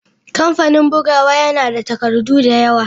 Kamfanin bugawa yana da takardu da yawa.